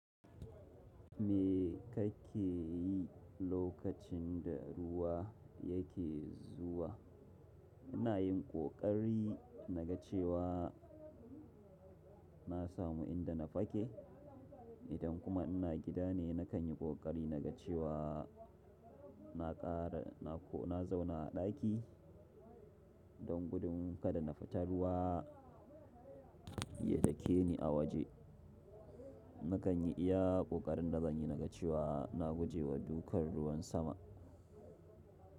Me kake yi lokacin da ruwa yake zuwa? Ina yin ƙoƙari na ga cewa na samu inda na fake. Idan kuma ina gida ne, na kan yi kokari na ga cewa na zauna a ɗaki don gudun kada na fita ruwa ya dake ni a waje. Na kan yi iya ƙoƙarin da zan yi na ga cewa na guje wa dukan ruwan sama.